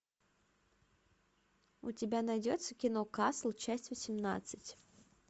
у тебя найдется кино касл часть восемнадцать